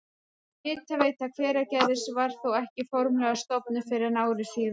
Hitaveita Hveragerðis var þó ekki formlega stofnuð fyrr en ári síðar.